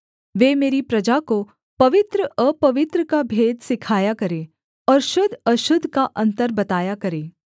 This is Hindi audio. वे मेरी प्रजा को पवित्र अपवित्र का भेद सिखाया करें और शुद्ध अशुद्ध का अन्तर बताया करें